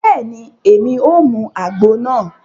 Bẹẹni, Èmí o mú àgbo náà